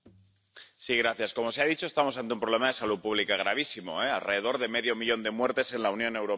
Señor presidente, como se ha dicho, estamos ante un problema de salud pública gravísimo, con alrededor de medio millón de muertes en la Unión Europea.